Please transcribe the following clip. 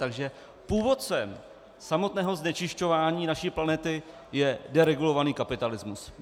Takže původcem samotného znečišťování naší planety je deregulovaný kapitalismus.